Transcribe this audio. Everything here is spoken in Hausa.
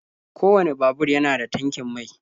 kowane babur yana da tankin mai.